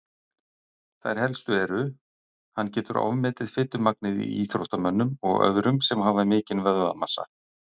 Þær helstu eru: Hann getur ofmetið fitumagnið í íþróttamönnum og öðrum sem hafa mikinn vöðvamassa.